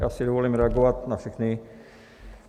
Já si dovolím reagovat na všechny.